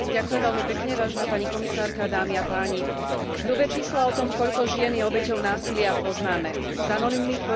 Hrubé čísla o tom, koľko žien je obeťou násilia poznáme. Z anonymných formulárov a šetrení vieme, o aký veľký problém sa jedná.